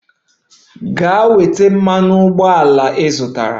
Gaa weta mmanụ ụgbọala ị zụtara!